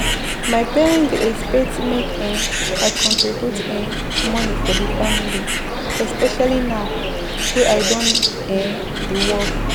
My parent dey expect make um I contribute um money for the family, especially now wey I done um dey work.